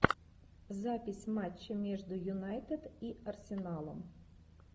запись матча между юнайтед и арсеналом